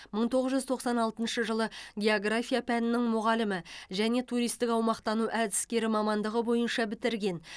мың тоғыз жүз тоқсан алтыншы жылы география пәнінің мұғалімі және туристік аумақтану әдіскері мамандығы бойынша бітірген